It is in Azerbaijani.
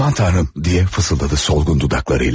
Aman Tanrım, deyə fısıldadı solğun dodaqlarıyla.